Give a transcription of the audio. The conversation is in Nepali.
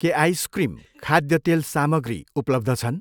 के आइसक्रिम, खाद्य तेल सामग्री उपलब्ध छन्?